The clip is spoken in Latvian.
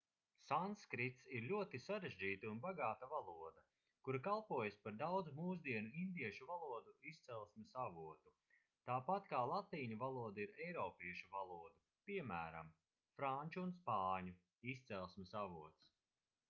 sanskrits ir ļoti sarežģīta un bagāta valoda kura kalpojusi par daudzu mūsdienu indiešu valodu izcelsmes avotu tāpat kā latīņu valoda ir eiropiešu valodu piemēram franču un spāņu izcelsmes avots